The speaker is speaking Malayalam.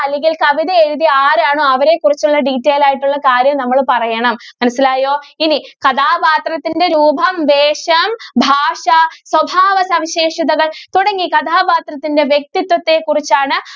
അല്ലെങ്കില്‍ കവിത എഴുതിയേ ആരാണോ അവരെ കുറിച്ചുള്ള detail ആയിട്ടുള്ള കാര്യം നമ്മള് പറയണം. മനസിലായോ? ഇനി കഥാപാത്രത്തിന്‍റെ രൂപം, വേഷം, ഭാഷ, സ്വഭാവസവിശേഷതകള്‍ തുടങ്ങി കഥാപാത്രത്തിന്‍റെ വ്യക്തിത്വത്തെ കുറിച്ചാണ്